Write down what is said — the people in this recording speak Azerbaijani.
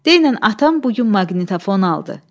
Denən atam bu gün maqnitofon aldı.